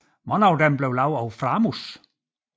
Mange af dem blev lavet af Framus